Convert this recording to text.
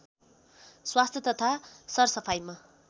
स्वास्थ्य तथा सरसफाइमा